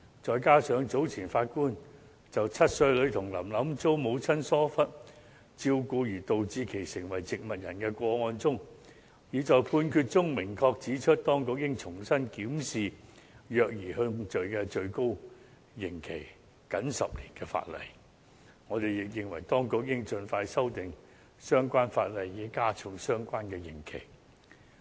再加上早前7歲女童"林林"遭母親疏忽照顧而導致成為植物人的個案中，法官已在判決中明確指出，當局應重新檢視虐兒控罪最高刑期僅10年的法例，我們亦認為當局應盡快修訂相關法例以加重刑期。